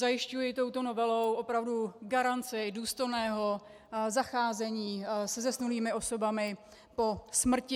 Zajišťuji touto novelou opravdu garanci důstojného zacházení se zesnulými osobami po smrti.